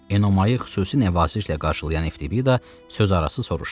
Enomayı xüsusi nəvazişlə qarşılayan Evtibida sözarası soruşdu: